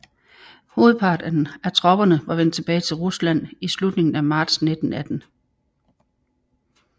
Hovedparten af tropperne var vendt tilbage til Rusland i slutningen af marts 1918